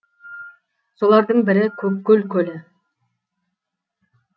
солардың бірі көккөл көлі